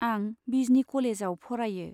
आं बिजनी कलेजआव फरायो।